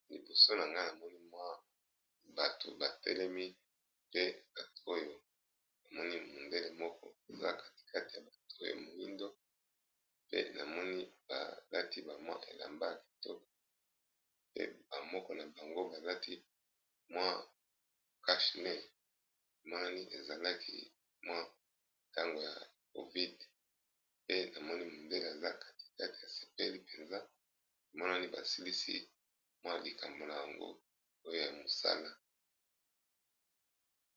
Nali boso na nga na moni mwa bato ba telemi. Pe bato oyo na moni mondele moko aza katikati ya bato ya moindo. Pe na moni ba lati ba mwa elamba kitoko. Pe ba moko na bango ba lati mwa kashne. Emonani ezalaki mwa tango ya covid. Pe na moni modele aza katikati asepeli mpenza. Emonani ba silisi mwa likambo na yango oyo ya mosala.